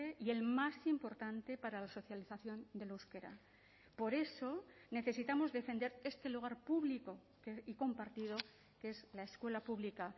y el más importante para la socialización del euskera por eso necesitamos defender este lugar público y compartido que es la escuela pública